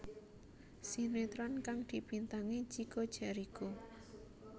Sinetron kang dibintangi Chico Jericho